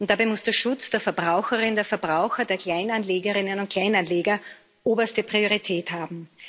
Dabei muss der Schutz der Verbraucherinnen und Verbraucher, der Kleinanlegerinnen und Kleinanleger oberste Priorität haben.